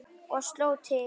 Og sló til.